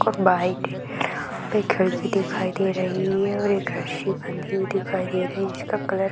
एक खिड़की दिखाई दे रही है और एक रस्सी बंधी हुई दिखाई दे रही है जिसका कलर --